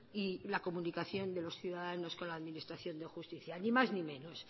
y la comunicación de los ciudadanos con la administración de justicia ni más ni menos